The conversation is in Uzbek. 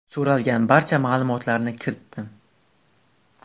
So‘ralgan barcha ma’lumotlarni kiritdim.